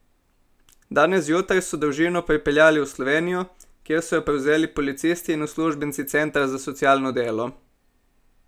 Danes zjutraj so družino pripeljali v Slovenijo, kjer so jo prevzeli policisti in uslužbenci centra za socialno delo.